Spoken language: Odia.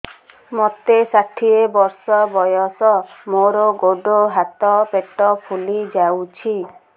ମୋତେ ଷାଠିଏ ବର୍ଷ ବୟସ ମୋର ଗୋଡୋ ହାତ ପେଟ ଫୁଲି ଯାଉଛି